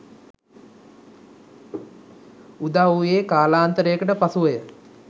උදා වූයේ කාලාන්තරයකට පසු වය.